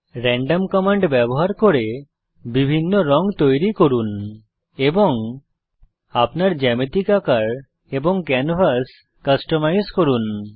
random command ব্যবহার করে বিভিন্ন রঙ তৈরি করুন এবং আপনার জ্যামিতিক আকার এবং ক্যানভাস কাস্টমাইজ করুন